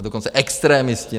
A dokonce extremisti.